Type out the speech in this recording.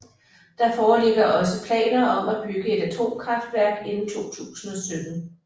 Der foreligger også planer om at bygge et atomkraftværk inden 2017